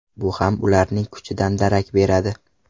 Bu ham ularning kuchidan darak beradi.